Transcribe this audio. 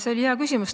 See oli hea küsimus.